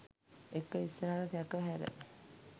ඒක ඉස්සරහට සැක හැර